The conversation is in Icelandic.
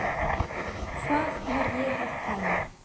Hvað var ég að pæla?